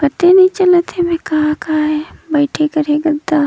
पते नई चलत हवय का काए बईथे कर हे गद्दा--